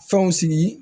Fɛnw sigi